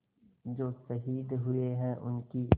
जो शहीद हुए हैं उनकी